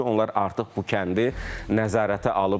Mümkündür ki, onlar artıq bu kəndi nəzarətə alıblar.